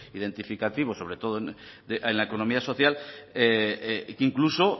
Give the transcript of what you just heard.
identificativo sobre todo en la economía social incluso